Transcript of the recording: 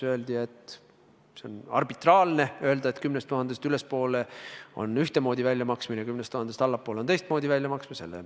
Öeldi, et on arbitraarne sätestada, et 10 000 eurost ülespoole on ühtemoodi väljamaksmine ja 10 000 eurost allapoole on teistmoodi väljamaksmine.